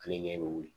Ale ɲɛ bɛ wuli